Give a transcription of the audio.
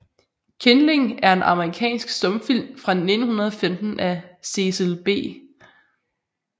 Kindling er en amerikansk stumfilm fra 1915 af Cecil B